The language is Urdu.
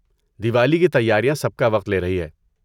دیولی کی تیاریاں سب کا وقت لے رہی ہیں۔